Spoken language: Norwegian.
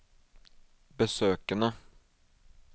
besøkene